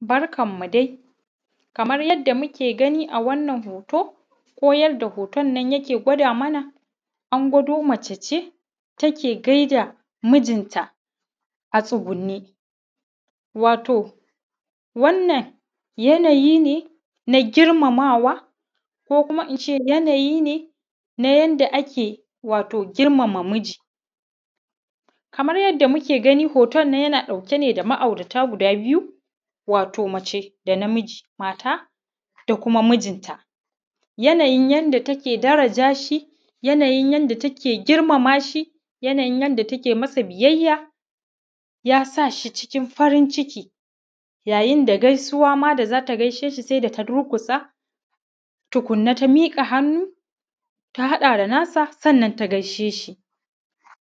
Barkanmu dai, kamar yadda muke gani a wannan hoto, ko yadda hoton yake gwada mana, an gwado mace ce take gaida mijinta a tsugunne. Wato wannan yanayi ne na girmamawa ko kuma ince yanayi ne na yanda ake wato ake girmama miji. Kamar yadda muke gani, hoton nan yana ɗauke ne da ma’aurata guda biyu, wato mace da namiji, mata da kuma mijinta yanayin yanda take daraja shi, yanayin yanda take girmama shi, yanayin yanda take masa biyayya, ya sa shi cikin farin ciki, yayin da gaisuwa ma da zata gaishe shi saida ta durƙusa tukunna ta miƙa hannu ta haɗa da nasa, sannan ta gaishe shi,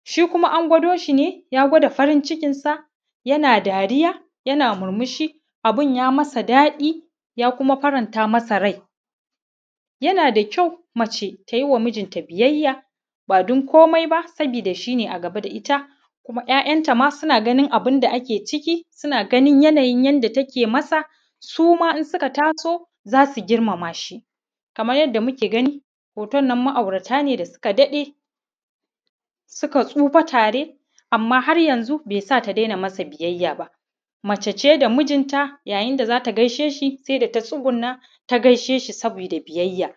shi kuma an gwado shi ne, ya gwada farin cikin sa yana dariya yana murmushi, abun ya masa daɗi, ya kuma faran ta masa rai. Yana da kyau mace tayi wa mijinta biyayya, ba don komai ba sabida shine a gaba da ita kuma ‘ya’yan ta ma suna ganin abunda ake ciki, suna ganin yanayin yanda take masa, su ma in suka taso zasu girmama shi, kamar yadda muke gani, hoton nan ma’aurata ne da suka daɗe, suka tsufa tare amma har yanzun bai sa ta dena masa biyayya ba, mace ce da mijinta yayin da zata gaishe shi sai da ta tsuguna ta gaishe shi sabida biyayya.